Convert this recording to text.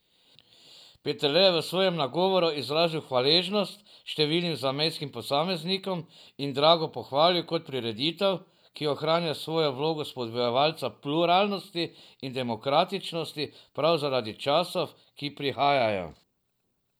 Peterle je v svojem nagovoru izrazil hvaležnost številnim zamejskim posameznikom in Drago pohvalil kot prireditev, ki ohranja svojo vlogo spodbujevalca pluralnosti in demokratičnosti prav zaradi časov, ki prihajajo.